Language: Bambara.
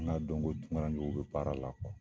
N y'a dɔn ko tunkarakew bɛ baara la.